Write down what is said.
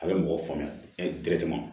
A bɛ mɔgɔ faamuya